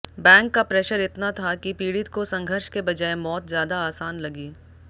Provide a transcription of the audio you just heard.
bank का pressure इतना था कि पीड़ित को संघर्ष के बजाए मौत ज्यादा आसान लगी